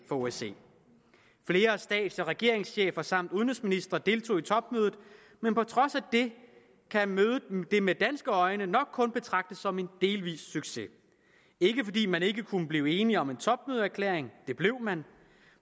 for osce flere stats og regeringschefer samt udenrigsministre deltog i topmødet men på trods af det kan mødet med danske øjne nok kun betragtes som en delvis succes ikke fordi man ikke kunne blive enige om en topmødeerklæring det blev man